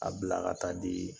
A bila ka taa di ye